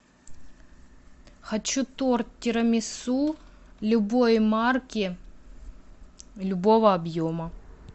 хочу торт тирамису любой марки любого объема